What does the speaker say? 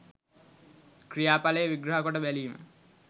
ක්‍රියාඵලය විග්‍රහකොට බැලීම